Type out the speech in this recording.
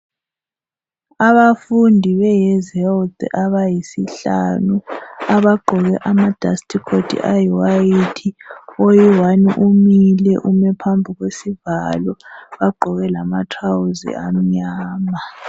Abafundi behelthi abahlanu abagqoke ama dasti khothi ayiwayithi, oyiwani umile, ume phambi kwesivalo, bagqoke lamatrawuzi amnyama.